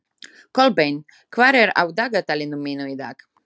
Kolbeinn, hvað er á dagatalinu mínu í dag?